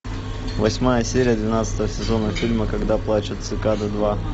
восьмая серия двенадцатого сезона фильма когда плачут цикады два